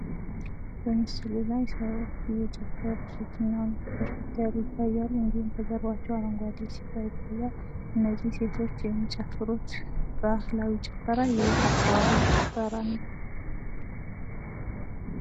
በምስሉ ላይ ሰዎች እየጨፈሩ ሴትና ወንድ ሆነው እንዲሁም ከጀርባቸው አረንጓዴ ሳር ይታያል። እነዚህ ሴቶች የሚጨፍሩት ባህላዊ ጭፈራ የየት ሃገር ጭፈራ ነው?